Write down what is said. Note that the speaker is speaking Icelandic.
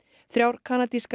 þrjár kanadískar